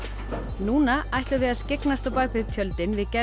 núna ætlum við að skyggnast á bak við tjöldin við gerð